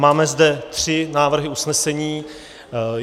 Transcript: Máme zde tři návrhy usnesení.